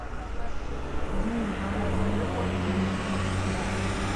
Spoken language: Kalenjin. kianyoru baruet ne goi nebunu biik chu